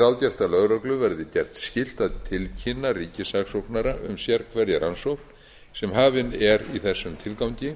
ráðgert að lögreglu verði gert skylt a tilkynna ríkissaksóknara um sérhverja rannsókn sem hafin er í þessum tilgangi